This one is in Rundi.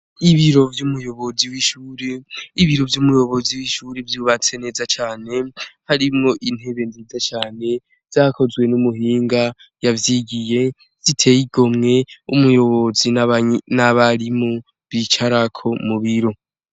Ibiro vy'umuyozi w'ishure. Ibiro vy'umuyobozi w'ishure vyubatswe neza cane, harimwo intebe nziza cane zakozwe n'umuhinga yavyigiye, ziteye igomwe, umuyobozi n'abarimu bicarako mu biro.